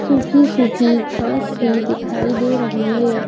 सूखी सूखी घास से दिखाई दे रही है ।